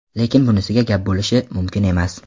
Lekin bunisiga gap bo‘lishi mumkin emas.